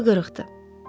Könlü qırıqdır.